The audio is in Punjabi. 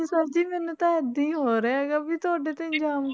Sir ਜੀ ਮੈਨੂੰ ਤਾਂ ਏਦਾਂ ਹੀ ਹੋ ਰਿਹਾ ਹੈਗਾ ਵੀ ਤੁਹਾਡੇ ਤੇ ਇਲਜ਼ਾਮ